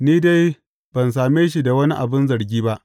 Ni dai ban same shi da wani abin zargi ba.